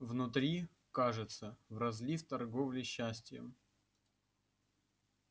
внутри кажется в разлив торговли счастьем